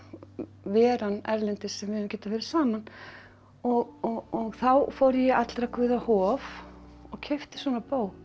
veran erlendis sem við höfum getað verið saman og þá fór ég í allra guða hof og keypti svona bók